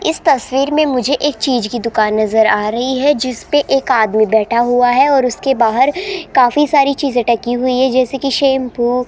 इस तस्वीर में मुझे एक चीज की दुकान नजर आ रही है जिसपे एक आदमी बैठा हुआ है और उसके बाहर काफी सारी चीज ढकी हुई है जैसे की शैंपू --